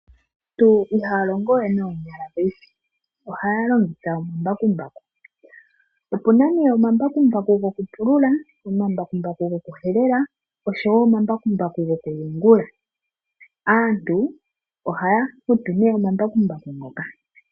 Aantu ihaya longowe noonyala paife ohaya longitha omambakumbaku, opu na nee omambakumbaku gwokupulula, omambakumbaku gwokuhelela oshowo omambakumbaku gwokuyungula, aantu ohaya futu nee omambakumbaku ngoka.